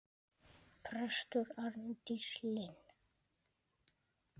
Prestur Arndís Linn.